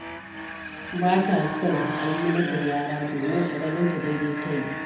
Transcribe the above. Ba ta son a yi mata gyara, domin a ganinta daidai ta yi.